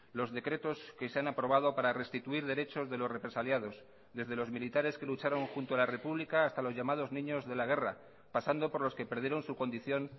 los decretos que se han aprobado para restituir derechos de los represaliados desde los militares que lucharon junto a la república hasta los llamados niños de la guerra pasando por los que perdieron su condición